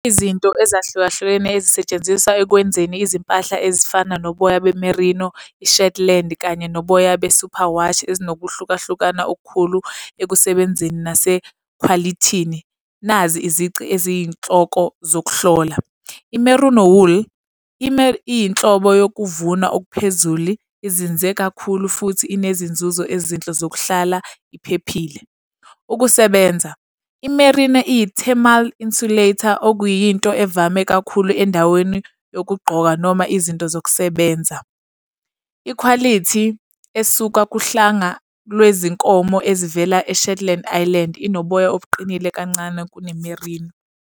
Izinto ezahlukahlukene ezisetshenziswa ekwenzeni izimpahla ezifana noboya be-merino, i-shetland kanye noboya be-superwash ezinokuhlukahlukana okukhulu ekusebenzeni nasekhwalithini. Nazi izici eziyinhloko zokuhlola. I-merino wool iyinhlobo yokuvuna okuphezulu, izinze kakhulu futhi inezinzuzo ezinhle zokuhlala iphephile. Ukusebenza. I-merino iyi-thermal insulator okuyinto evame kakhulu endaweni yokugqoka noma izinto zokusebenza. Ikhwalithi esuka kuhlanga lwezinkomo ezivela e-Shetland Island inoboya obuqinile kancane kune-merino.